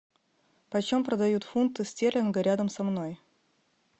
по чем продают фунты стерлинга рядом со мной